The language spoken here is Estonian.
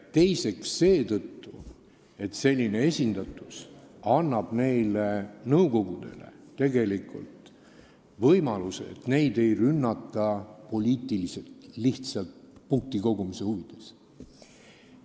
Teiseks, selline esindatus annab võimaluse, et neid nõukogusid ei rünnata poliitiliselt lihtsalt punktikogumise huvides.